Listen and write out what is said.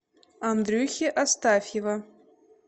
андрюхи астафьева